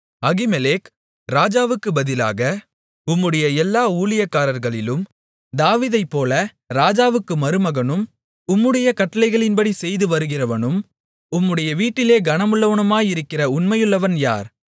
Ahimelech ராஜாவுக்குப் பதிலாக உம்முடைய எல்லா ஊழியக்காரர்களிலும் தாவீதைப் போல ராஜாவுக்கு மருமகனும் உம்முடைய கட்டளைகளின்படி செய்து வருகிறவனும் உம்முடைய வீட்டிலே கனமுள்ளவனுமாயிருக்கிற உண்மையுள்ளவன் யார்